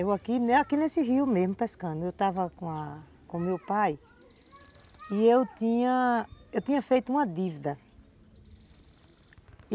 Eu aqui nesse rio mesmo pescando, eu estava com a com o meu pai e eu tinha, tinha feito uma dívida.